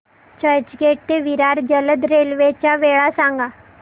चर्चगेट ते विरार जलद रेल्वे च्या वेळा सांगा